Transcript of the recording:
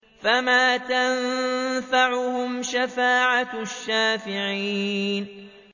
فَمَا تَنفَعُهُمْ شَفَاعَةُ الشَّافِعِينَ